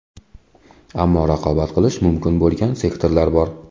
Ammo raqobat qilish mumkin bo‘lgan sektorlar bor.